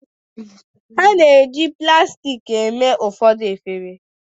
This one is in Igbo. a na-eji plastik mee ụfọdụ efere